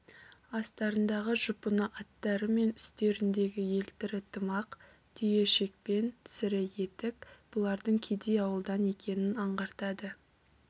астарындағы жұпыны аттары мен үстеріндегі елтірі тымақ түйе шекпен сірі етік бұлардың кедей ауылдан екенін аңғартады